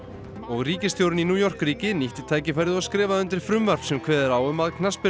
ríkisstjórinn í New York ríki nýtti tækifærið og skrifaði undir frumvarp sem kveður á um að